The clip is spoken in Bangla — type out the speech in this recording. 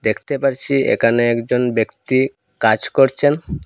দেখতে পারছি এখানে একজন ব্যক্তি কাজ করছেন।